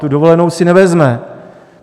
Tu dovolenou si nevezme.